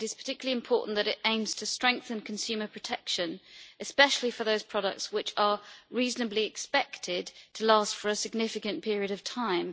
It is particularly important that it aims to strengthen consumer protection, especially in relation to those products which are reasonably expected to last for a significant period of time.